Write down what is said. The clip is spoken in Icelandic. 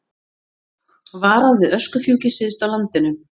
Varað við öskufjúki syðst á landinu